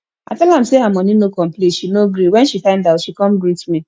i tell am say her money no complete she no gree wen she find out she come greet me